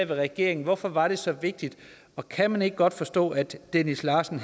regeringen hvorfor var det så vigtigt og kan man ikke godt forstå at dennis larsen